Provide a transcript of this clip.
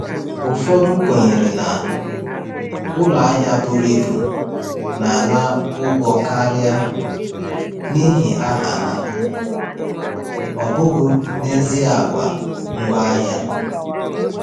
Ụfọdụ kwenyere na ụlọ ahịa buru ibu na-ana ụgwọ karịa n’ihi aha ha, ọ bụghị n’ezie àgwà ngwaahịa.